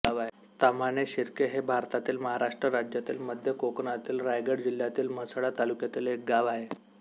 ताम्हाणे शिर्के हे भारतातील महाराष्ट्र राज्यातील मध्य कोकणातील रायगड जिल्ह्यातील म्हसळा तालुक्यातील एक गाव आहे